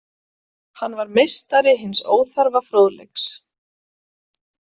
Hann var meistari hins óþarfa fróðleiks.